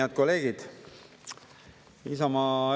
Head kolleegid!